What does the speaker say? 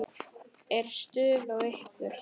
Er stuð á ykkur?